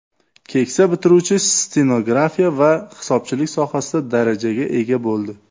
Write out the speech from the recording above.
Keksa bitiruvchi stenografiya va hisobchilik sohasida darajaga ega bo‘ldi.